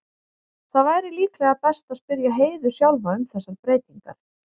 Það væri líklega best að spyrja Heiðu sjálfa um þessar breytingar.